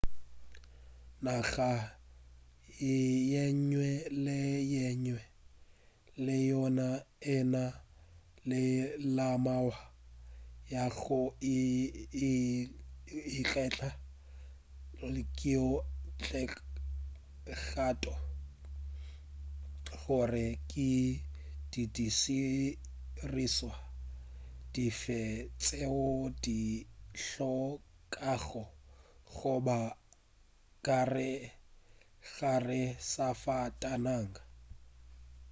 naga yenngwe le yenngwe le yona e na le melawana ya go ikgetha yeo e kgethago gore ke didirišwa dife tšeo di hlokago go ba ka gare ga safatanaga